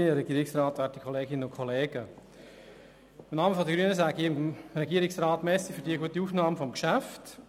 Im Namen der grünen Fraktion danke ich dem Regierungsrat für die gute Aufnahme dieses Geschäfts.